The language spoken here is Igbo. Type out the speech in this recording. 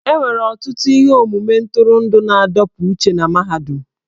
E nwere ọtụtụ ihe omume ntụrụndụ na-adọpụ uche na mahadum.